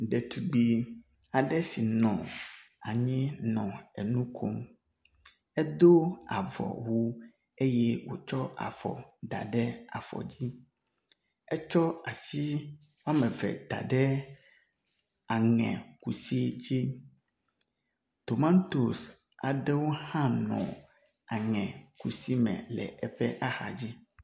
Ɖetugbi aɖe si nɔ anyi nɔ enu kom. Edo avɔwu eye wotsɔ afɔ da ɖe afɔ dzi. Etsɔ asi wɔme ve da ɖe aŋekusi dzi. Tomatosi aɖewo hã nɔ aŋekusi me le eƒe axa dzi.